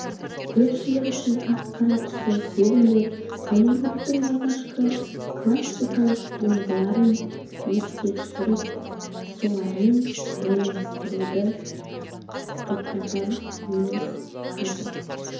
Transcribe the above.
көпшілік үшін ақ-қара түсті фильмдер голивудтың алғашқы классикалық туындыларын еске түсіріп солармен байланыстыруды тоқтатар емес қазір